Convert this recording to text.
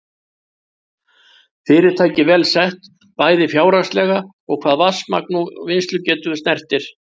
Fyrirtækið vel sett, bæði fjárhagslega og hvað vatnsmagn og vinnslugetu snertir.